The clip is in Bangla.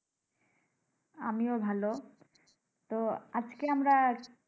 আমিও ভালো তো, আজকে আমরা